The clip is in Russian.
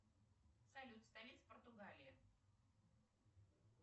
салют столица португалии